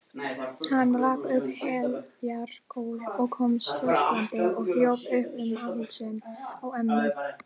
Hann rak upp heljar gól og kom stökkvandi og hljóp upp um hálsinn á ömmu.